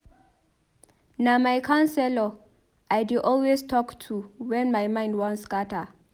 Na my counselor I dey always talk to wen my mind wan scatter.